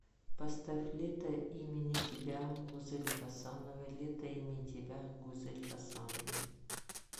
поставь лето имени тебя гузели хасановой лето имени тебя гузель хасановой